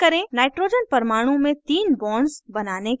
nitrogen परमाणु में तीन bonds बनाने के लिए